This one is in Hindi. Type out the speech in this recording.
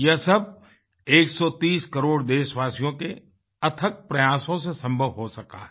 यह सब 130 करोड़ देशवासियों के अथक प्रयासों से संभव हो सका है